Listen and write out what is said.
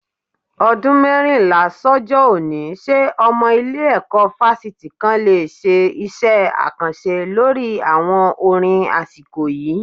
Ọdún mẹ́rìnlá sọ́jọ́ òní, ṣé ọmọ ilé-ẹ̀kọ́ fásitì kan le ṣe iṣẹ́ àkànṣe lórí àwọn orin asiko yìí